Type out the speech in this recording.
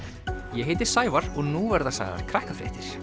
ég heiti Sævar og nú verða sagðar